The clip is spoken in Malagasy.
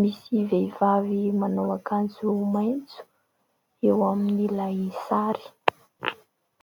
Misy vehivavy manao akanjo maitso eo amin'ilay sary.